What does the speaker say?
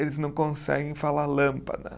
Eles não conseguem falar lâmpada.